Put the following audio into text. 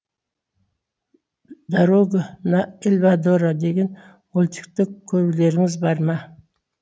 дарога на эльдарадо деген мультикті көрулеріңіз бар ма